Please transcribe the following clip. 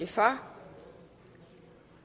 for